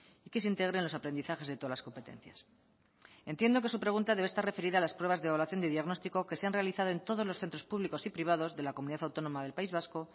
y que se integren los aprendizajes de todas las competencias entiendo que su pregunta debe estar referida a las pruebas de evaluación de diagnóstico que se han realizado en todos los centros públicos y privados de la comunidad autónoma del país vasco